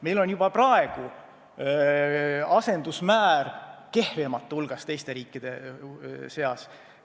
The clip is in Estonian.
Meil on juba praegu asendusmäär, kui võrrelda teiste riikidega, kehvemate hulgas.